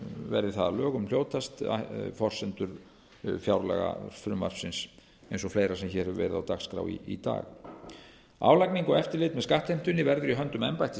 verði það að lögum hljótast forsendur fjárlagafrumvarpsins eins og fleira sem hér hefur verið á dagskrá í dag álagning og eftirlit með skattheimtunni verður í höndum embættis